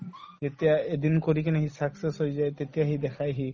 এতিয়া এদিন কৰি কিনে সি success হৈ যায় তেতিয়া সি দেখাই সি